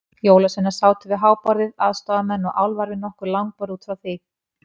Jólasveinarnir sátu við háborðið, aðstoðarmenn og álfar við nokkur langborð út frá því.